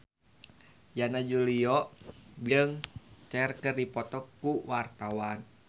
Yana Julio jeung Cher keur dipoto ku wartawan